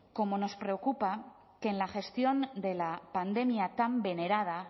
como nos preocupa que en la gestión de la pandemia tan venerada